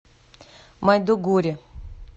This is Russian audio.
майдугури